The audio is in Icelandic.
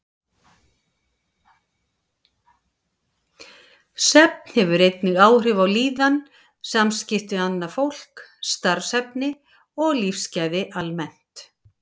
Svefn hefur einnig áhrif á líðan, samskipti við annað fólk, starfshæfni og lífsgæði almennt.